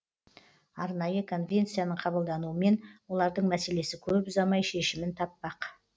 арнайы конвенцияның қабылдануымен олардың мәселесі көп ұзамай шешімін таппақ